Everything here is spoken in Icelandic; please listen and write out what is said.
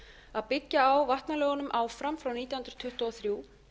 að byggja á vatnalögunum áfram frá nítján hundruð tuttugu og þrjú